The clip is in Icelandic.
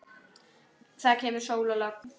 Það kemur sól og logn.